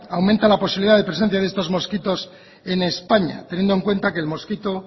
aumenta la posibilidad de presencia de estos mosquitos en españa teniendo en cuenta que el mosquito